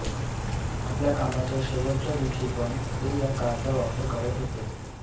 आपल्या कामाच्या शेवटच्या दिवशी पण ते या कारचा वापर करत होते